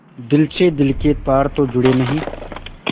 दिल से दिल के तार तो जुड़े नहीं